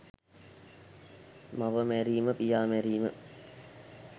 මව මැරීම, පියා මැරීම